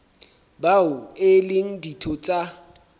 bao e leng ditho tsa